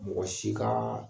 Mɔgɔ si kaa